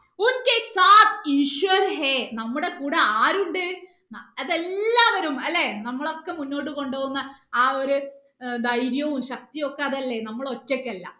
നമ്മുടെ കൂടെ ആരുണ്ട് അത് എല്ലാവരും അല്ലേ നമ്മളെ ഒക്കെ മുന്നോട്ട് കൊണ്ടോവുന്ന ആ ഒരു ഏർ ധൈര്യവും ശക്തിയും ഒക്കെ അതല്ലേ നമ്മൾ ഒറ്റക്കല്ല